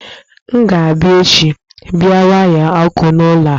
M ga abịa echi bia waya ọkụ n'ụlọ a